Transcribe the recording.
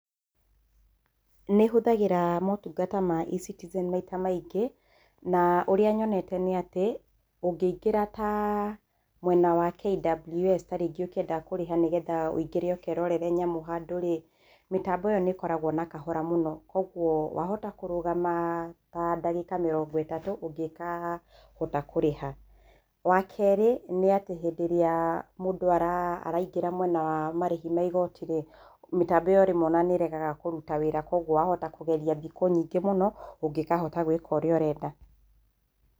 Nĩ hũthagĩra maũtungata ma eCitizen maita maingĩ. Na ũrĩa nyonete nĩ atĩ, ũngĩingĩra ta mwena wa KWS ta rĩngĩ ũkĩenda kũrĩha nĩgetha ũingĩre ũkerore nyamũ handũ rĩ, mĩtambo ĩyo nĩ ĩkoragwo na kahora mũno, kwoguo wahota kũrũgama ta ndagĩka mĩrongo ĩtatũ ũngĩkahota kũrĩha. Wa kerĩ, nĩ atĩ hĩndĩ ĩrĩa mũndũ araingĩra mwena wa marĩhi ma igoti rĩ, mĩtambo ĩyo rĩmwe o na nĩ ĩregaga kũruta wĩra, kwoguo wahota kũgeria thikũ nyingĩ mũno ũngĩkahota gũĩka ũrĩa ũrenda